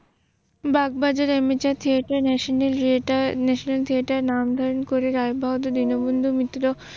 bug বাজার theatre national theatre national theatre নাম ধারণ করে রায় বাহাদুর দীনবন্ধুর মিত্র